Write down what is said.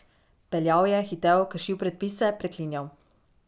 Peljal je, hitel, kršil predpise, preklinjal.